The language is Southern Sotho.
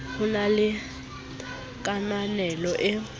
ho na le kananelo e